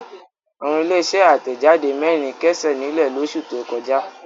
Àwọn ilé-iṣẹ́ àtẹ̀jáde mẹ́rin kẹ́sẹ̀ nílẹ̀ lóṣù tó kọjá.